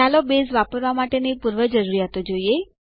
ચાલો બેઝ વાપરવા માટેની પૂર્વજરૂરીયાતો જોઈએ